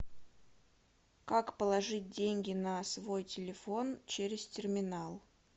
как положить деньги на свой телефон через терминал